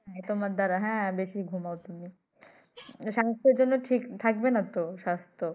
এ তোমার দারা হ্যাঁ বেশি ঘুমাও তুমি। স্বাস্থ্যের জন্য ঠিক না থাকবে না তো স্বাস্থ্য